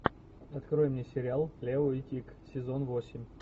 открой мне сериал лео и тиг сезон восемь